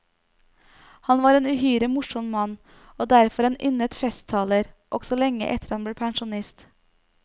Han var en uhyre morsom mann, og derfor en yndet festtaler også lenge etter at han ble pensjonist.